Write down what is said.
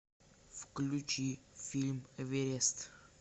включи фильм эверест